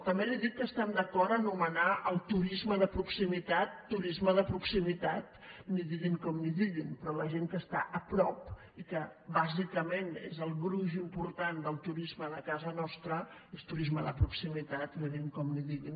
també li dic que estem d’acord a anomenar el turisme de proximitat turisme de proximitat en diguin com en diguin però la gent que està a prop i que bàsicament és el gruix important del turisme de casa nostra és turisme de proximitat en diguin com en diguin